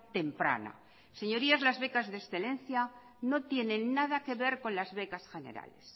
temprana señorías las becas de excelencia no tienen nada que ver con las becas generales